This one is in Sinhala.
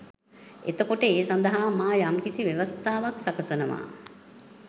එතකොට ඒ සඳහා මා යම්කිසි ව්‍යවස්ථාවක් සකසනවා